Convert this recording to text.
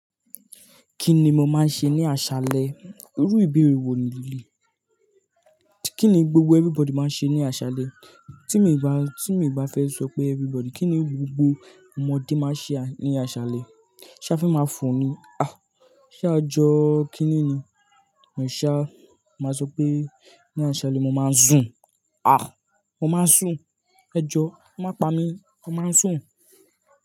Kí ni mo máa ń ṣe ní àṣálẹ́? Irú ìbéèrè wo ni yìí? Kí ni gbogbo everybody máa ń ṣe ní àṣálẹ́? Tí mi bá, tí mi bá fẹ́ sọ pé everybody. Kí ni gbogbo ọmọdé máa ń ṣe ní àṣálẹ́? Ṣé a fe máa fò ni? Ah! Ṣé a jọ kiní ni? Ẹ̀ṣá, màá sọ pé ní àṣálẹ́ mo máa ń sùn. Ah! Mo máa ń sùn. Ẹjọ má pa mí, mo máa ń sùn.